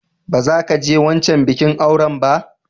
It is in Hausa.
Ba za ki je wancan bikin auran ba!